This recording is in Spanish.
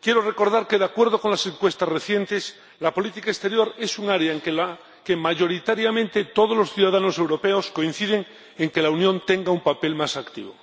quiero recordar que, de acuerdo con encuestas recientes, la política exterior es un área en la que mayoritariamente todos los ciudadanos europeos coinciden en que la Unión debe tener un papel más activo.